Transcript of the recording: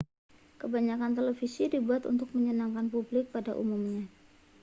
kebanyakan televisi dibuat untuk menyenangkan publik pada umumnya